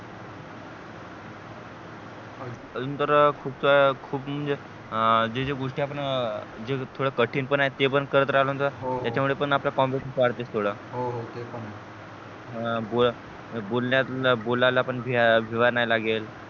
अजून तर खूप खूप म्हणजे जे जे गोष्टी आपण थोड्या कठीण पण आहे ते पण करत राहलो तर त्याच्या मुळे पण आपला confidence वाढते थोडा हो ते पण आहे बोलन्यातलं बोलायला पण फिरवानाही लागेल